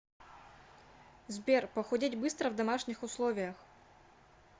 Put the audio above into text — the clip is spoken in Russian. сбер похудеть быстро в домашних условиях